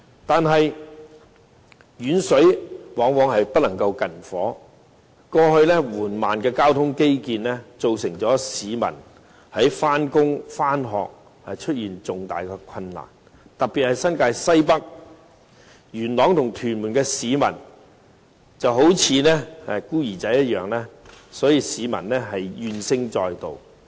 可是，遠水往往不能救近火，過去緩慢的交通基建導致市民在上班、上學時出現重大困難，特別是新界西北區，元朗和屯門的市民就好像孤兒一樣，無不怨聲載道。